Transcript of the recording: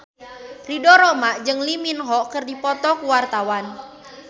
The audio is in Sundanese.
Ridho Roma jeung Lee Min Ho keur dipoto ku wartawan